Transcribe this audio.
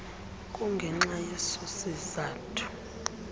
kungenxa yeso sizathu